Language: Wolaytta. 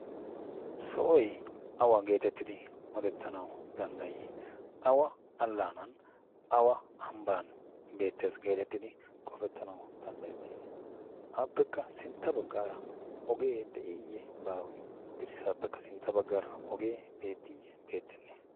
sohoy awa geetettidi odettanau danddayii awa allaanan awa ambban beettees geetettidi qofettanau danddayettii aappekka sintta baggaara ogee de'iiyye baawee? dirssaappekka sintta baggaara ogee beettiiyye beettenne?